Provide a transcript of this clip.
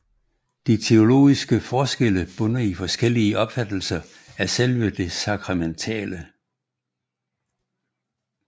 De teologiske forskelle bunder i forskellige opfattelser af selve det sakramentale